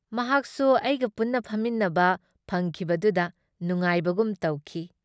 ꯃꯍꯥꯛꯁꯨ ꯑꯩꯒ ꯄꯨꯟꯅ ꯐꯝꯃꯤꯟꯅꯕ ꯐꯪꯈꯤꯕꯗꯨꯗ ꯅꯨꯉꯥꯏꯕꯒꯨꯝ ꯇꯧꯈꯤ ꯫